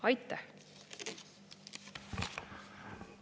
Aitäh!